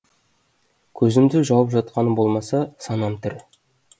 көзімді жауып жатқаным болмаса санам тірі